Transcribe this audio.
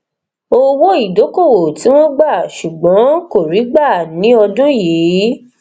owóìdókòwò tí wọn gbà ṣùgbọn kò rí gbà ni ọdún yìí